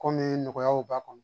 Kɔmi nɔgɔyaw b'a kɔnɔ